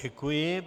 Děkuji.